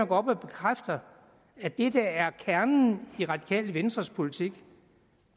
går op og bekræfter at det der er kernen i radikale venstres politik